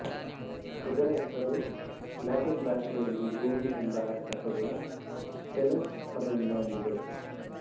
ಇದರ ಹೆಸರು ಲ್ಯಾಟಿನ್ ಭಾಷೆಯಲ್ಲಿ ಭೂಮಿ ಎಂಬ ಅರ್ಥ ಕೊಡುವ ಟೆಲ್ಲಸ್ ಪದದಿಂದ ಬಂದಿದೆ